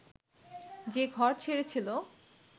যে ঘর ছেড়েছিল